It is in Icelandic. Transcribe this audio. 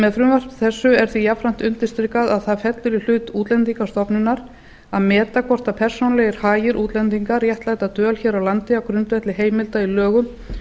með frumvarpi þessu er því jafnframt undirstrikað að það fellur í hlut útlendingastofnunar að meta hvort persónulegir hagir útlendinga réttlæta dvöl hér á landi á grundvelli heimilda í lögum